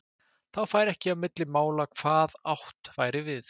Þá færi ekki á milli mála hvað átt væri við.